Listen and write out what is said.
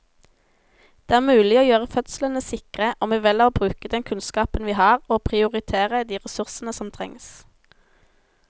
Det er mulig å gjøre fødslene sikre om vi velger å bruke den kunnskapen vi har og prioritere de ressursene som trengs.